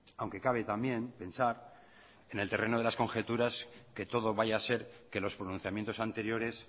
aunque cabe también pensar que en el terreno de las conjeturas que todo vaya a ser que los pronunciamientos anteriores